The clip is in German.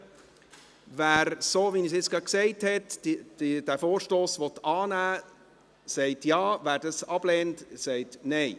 Wer, den Vorstoss, so wie ich es gesagt habe, annehmen will, stimmt Ja, wer dies ablehnt, stimmt Nein.